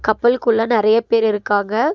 கப்பல் குள்ள நறைய பேர் இருக்காங்க.